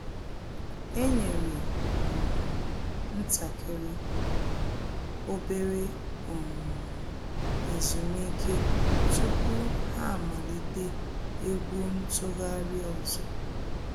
E nyere um ntakịrị /obere um ezumike tupu ha amalite egwu ntụgharị ọzọ